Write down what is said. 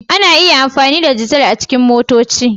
Ana iya amfani da dizal a cikin motoci.